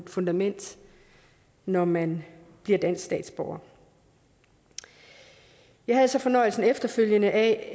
fundament når man bliver dansk statsborger jeg havde så fornøjelsen efterfølgende at